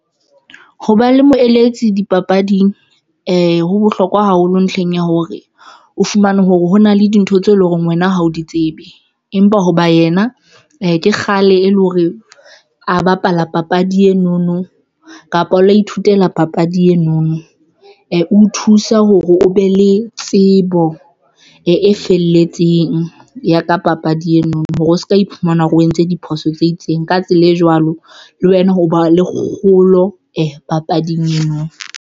Ho ba le moeletsi dipapading ho bohlokwa haholo ntlheng ya hore o fumane hore hona le dintho tseo e leng hore wena ha o di tsebe, empa hoba yena ke kgale e le hore a bapala papadi eno no kapa o la ithutela papadi eno no o thusa hore o be le tsebo e felletseng ya ka papadi eno hore o se ka iphumana o entse diphoso tse itseng ka tsela e jwalo le wena o ba le kgolo papading eno.